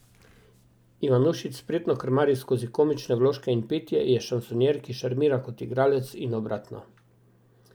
Ivanušič spretno krmari skozi komične vložke in petje, je šansonjer, ki šarmira kot igralec in obratno.